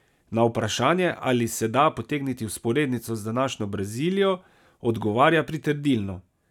Na vprašanje, ali se da potegniti vzporednico z današnjo Brazilijo, odgovarja pritrdilno.